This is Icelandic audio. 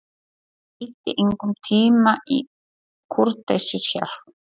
Hann eyddi engum tíma í kurteisishjal.